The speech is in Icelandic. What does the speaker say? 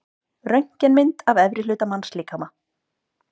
Röntgenmynd af efri hluta mannslíkama.